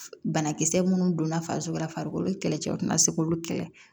Banakisɛ minnu donna farisoko la farikolo kɛlɛcɛw tɛ na se k'olu kɛlɛ